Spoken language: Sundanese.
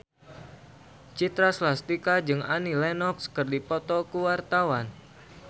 Citra Scholastika jeung Annie Lenox keur dipoto ku wartawan